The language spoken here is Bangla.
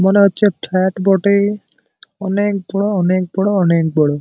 মনে হচ্ছে ফ্লাট বটে - এ অনেক বড় অনেক বড় অনেক বড়।